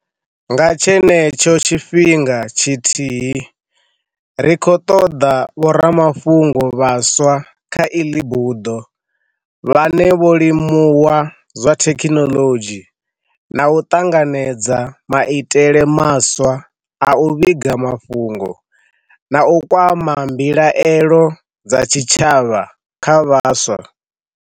Nga tshenetsho tshifhinga tshithihi, ri khou ṱoḓa vhoramafhungo vhaswa kha iḽi buḓo vhane vho limu wa zwa thekhinoḽodzhi, na u ṱanganedza maitele maswa a u vhiga mafhungo na u kwa ma mbilaelo dza tshitshavha tsha vhaswa.